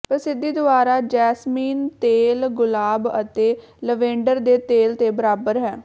ਪ੍ਰਸਿੱਧੀ ਦੁਆਰਾ ਜੈਸਮੀਨ ਤੇਲ ਗੁਲਾਬ ਅਤੇ ਲਵੈਂਡਰ ਦੇ ਤੇਲ ਦੇ ਬਰਾਬਰ ਹੈ